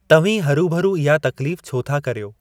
तव्हीं हरू भरू इहा तकलीफ़ छो था करियो?